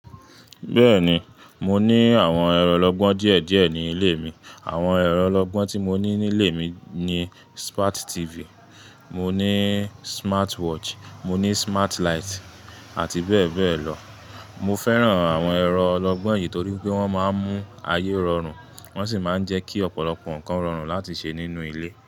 Bẹ́ẹ̀ni, mo ní àwọn ẹ̀rọ lọ́gbọ́n díẹ̀díẹ̀ ní ilé mi. Àwọn ẹ̀rọ lọ́gbọ́n tí mo ní nílé mi ni Smart TV, mo ní smartwatch, mo ní smart light àti bẹ́ẹ̀ bẹ́ẹ̀ lọ. Mo fẹ́ràn àwọn ẹ̀rọ ọlọ́gbọ́n yìí torí wípé wọ́n máa ń mú ayé rọrùn, wọ́n sì máa ń jẹ́ kí ọ̀pọ̀lọpọ̀ nǹkan rọrùn láti ṣe nínú ilé.